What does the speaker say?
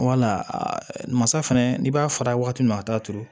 masa fɛnɛ n'i b'a fara waati min a t'a turu